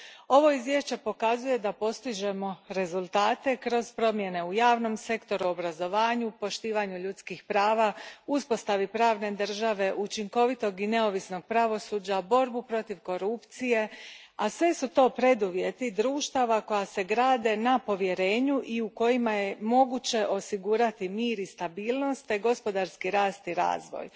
Ovo izvješće pokazuje da postižemo rezultate kroz promjene u javnom sektoru, obrazovanju, poštivanju ljudskih prava, uspostavi pravne države, učinkovitog i neovisnog pravosuđa, borbi protiv korupcije, a sve su to preduvjeti društava koja se grade na povjerenju i u kojima je moguće osigurati mir i stabilnost te gospodarski rast i razvoj.